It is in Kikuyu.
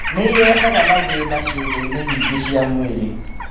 Nĩ ĩrehaga mathĩĩna ciĩga-inĩ nyingĩ cia mwĩrĩ.